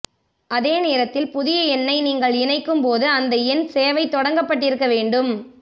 அதே நேரத்தில் புதிய எண்ணை நீங்கள் இணைக்கும்போது அந்த எண் சேவை தொடங்கப்பட்டிருக்க வேண்டும்